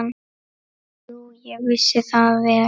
Jú, ég vissi það vel.